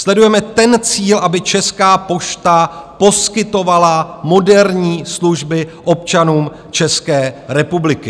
Sledujeme ten cíl, aby Česká pošta poskytovala moderní služby občanům České republiky.